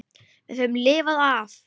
Við höfum lifað af.